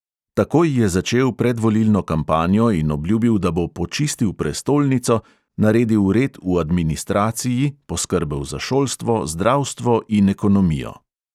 Takoj je začel predvolilno kampanjo in obljubil, da bo "počistil prestolnico" naredil red v administraciji, poskrbel za šolstvo, zdravstvo in ekonomijo.